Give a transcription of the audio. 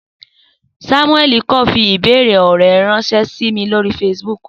Samuel kan fi ibeere ọrẹ ranṣẹ si mi lori Facebook.